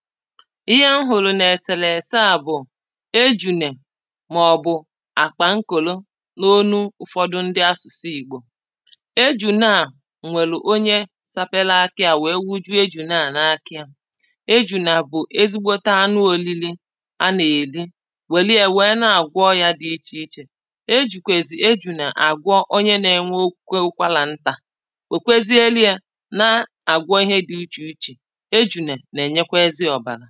Íhé m hụ̀rụ̀ n’èsèlèsè á bụ̀ éjùnè màọbụ̀ àkpànkòlo n’olu ụ̀fọdụ ndi asụ̀sụ Ìgbò ejùnè a nwèlù onye sapele áká yá weé wújúé ejùnè a n’aka ya ejùnè bụ̀ ezigbote anụ òlili a nà-èli wèlie wee na-àgwọ ọyà di ichèichè ejìkwèzì ejùnè àgwọ onye na-enwekwe ụkwàrantà wèkwezieli ye nà-àgwọ ihe di ichèichè ejùnè nà-ènyekwa ezi ọ̀bàrà